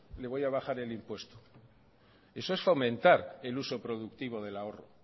le voy a bajar el impuesto eso es fomentar el uso productivo del ahorro